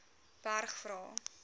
berg vra